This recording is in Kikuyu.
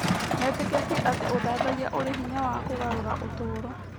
Metĩkĩtie atĩ ũthathaiya ũrĩ hinya wa kũgarũra ũtũũro.